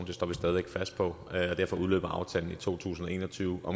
det står vi stadig væk fast på og derfor udløber aftalen i to tusind og en og tyve